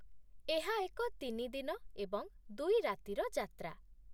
ଏହା ଏକ ତିନି ଦିନ ଏବଂ ଦୁଇ ରାତିର ଯାତ୍ରା।